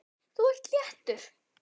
Þú ert léttur.